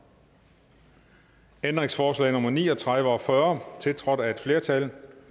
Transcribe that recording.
ændringsforslag nummer ni og tredive og fyrre tiltrådt af et flertal